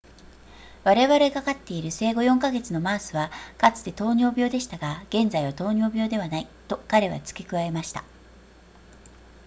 「我々が飼っている生後4か月のマウスはかつて糖尿病でしたが現在は糖尿病ではない、」と彼は付け加えました